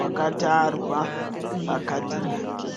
wakatarwa pakadhi rake.